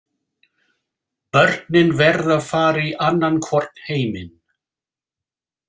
Börnin verða að fara í annan hvorn heiminn.